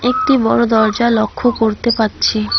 একটি বড়ো দরজা লক্ষ করতে পাচ্ছি।